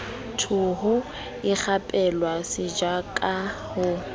theho ikgapela setjwaba ka ho